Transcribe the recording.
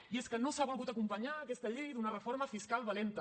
i és que no s’ha volgut acompanyar aquesta llei d’una reforma fiscal valenta